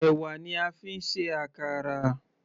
Ẹ̀wà ni a fi ń ṣe àkàrà.